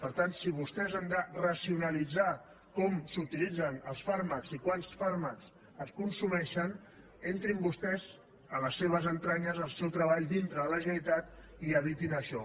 per tant si vostès han de racionalitzar com s’utilitzen els fàrmacs i quants fàrmacs es consumeixen entrin vostès a les seves entranyes al seu treball dintre de la generalitat i evitin això